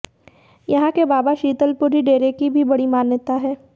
यहां के बाबा शीतल पुरी डेरे की भी बड़ी मान्यता है